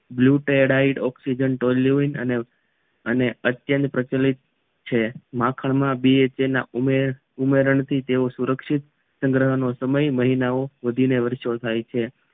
blue ટેડ આઈ oxygen ટોલોઇએડ અને અત્યંત પ્રચલિત છે માખણમાં પણ તેમાં ઉમેરણ થી તેવો સુરક્ષિત સંગ્રહ સમય મહિનાઓ વધીને વર્ષો થાય છે